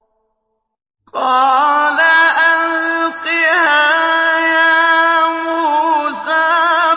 قَالَ أَلْقِهَا يَا مُوسَىٰ